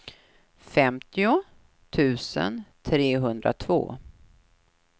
femtio tusen trehundratvå